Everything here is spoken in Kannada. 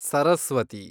ಸರಸ್ವತಿ